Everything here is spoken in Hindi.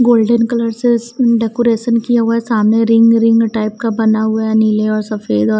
गोल्डन कलर से स उम डेकोरेशन किया हुआ है सामने रिंग रिंग टाइप का बना हुआ है नीले और सफेद और --